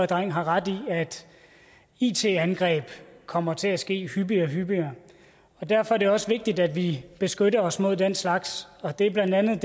dreng har ret i at it angreb kommer til at ske hyppigere og hyppigere derfor er det også vigtigt at vi beskytter os mod den slags og det er blandt andet